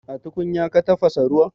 A tukunya ka tafasa ruwan?